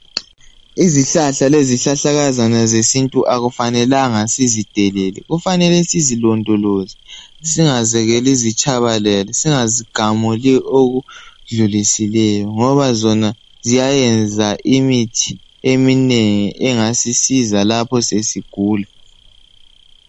Izihlahla lezihlahlakazana zesintu akufanelanga sizidelele kufanele sizilondolozo singazekeli zitshabalale singazigamuli okudlulisileyo ngoba zona ziyayenza imithi eminengi engasisiza lapho sesigula